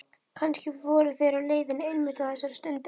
Kannski voru þeir á leiðinni einmitt á þessari stundu.